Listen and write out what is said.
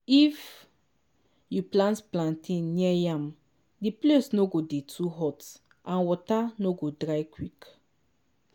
if you plant plantain near yam the place no go dey too hot and water no go dry quick.